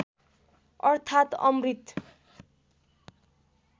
अर्थात् अमृत